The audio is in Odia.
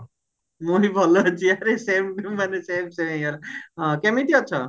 ମୁଁ ବି ଭଲ ଅଛି ଆରେ same to ମାନେ same ସମେ ହେଇଗଲା ହଁ କେମିତି ଅଛ